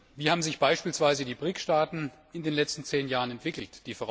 Wie haben sich beispielsweise die BRICS Staaten in den letzten zehn Jahren entwickelt?